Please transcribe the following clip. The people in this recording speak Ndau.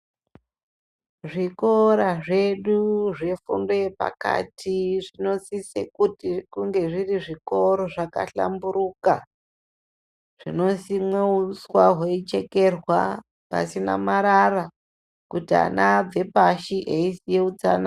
Zvikora zvedu zvefundo yepakati zvinosise kuti kunge zviri zvikora zvakahlamburuka. Zvinosimwe uswa hweichekerwa pasina marara kuti vana vabve pashi veiziya utsanana.